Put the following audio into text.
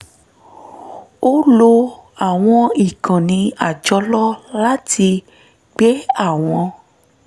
ó lo àwọn ìkànnì àjọlò láti gbé àwọn